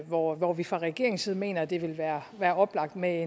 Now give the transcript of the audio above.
hvor hvor vi fra regeringens side mener at det vil være oplagt med